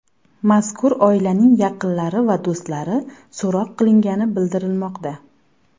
Mazkur oilaning yaqinlari va do‘stlari so‘roq qilingani bildirilmoqda.